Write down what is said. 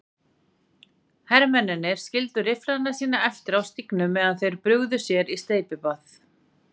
Hermennirnir skildu rifflana sína eftir á stígnum meðan þeir brugðu sér í steypibað.